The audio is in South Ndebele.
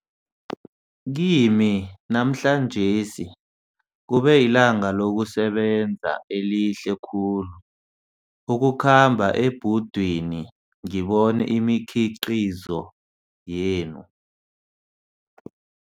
Kimi, namhlanjesi kube lilanga lokusebenza elihle khulu, ukukhamba ebhudwini ngibone imikhiqizo yenu.